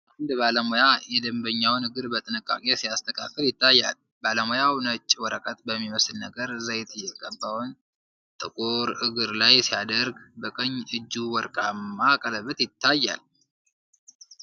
አንድ ባለሙያ የደንበኛውን እግር በጥንቃቄ ሲያስተካክል ይታያል። ባለሙያው ነጭ ወረቀት በሚመስል ነገር ዘይት የተቀባውን ጥቁር እግር ላይ ሲያደርግ፣ በቀኝ እጁ ወርቃማ ቀለበት ይታያል።